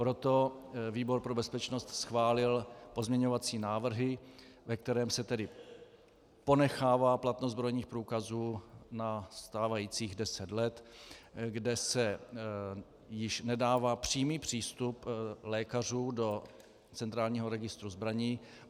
Proto výbor pro bezpečnost schválil pozměňovací návrhy, ve kterých se tedy ponechává platnost zbrojních průkazů na stávajících deset let, kde se již nedává přímý přístup lékařů do centrálního registru zbraní.